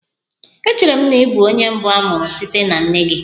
Echere m na ị bụ onye mbụ a mụrụ site na nne gị.